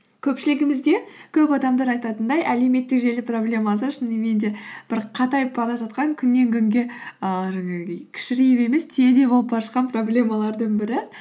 көпшілігімізде көп адамдар айтатындай әлеуметтік желі проблемасы шынымен де бір қатайып бара жатқан күннен күнге ііі жаңағы кішірейіп емес түйедей болып бара жатқан проблемалардың бірі